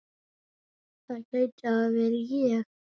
það gæti hafa verið ég